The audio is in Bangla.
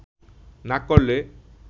না করলে